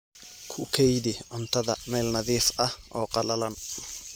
Ku kaydi cuntada meel nadiif ah oo qallalan.